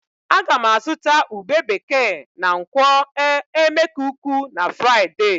Ága m azụta ube bekee na nkwọ̀ e. Emekuku na Fraịde